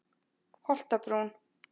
Holtabrún